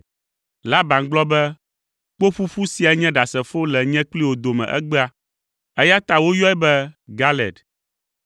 Laban gblɔ be, “Kpoƒuƒu sia nye ɖasefo le nye kpli wò dome egbea.” Eya ta woyɔe be Galed.